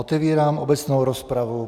Otevírám obecnou rozpravu.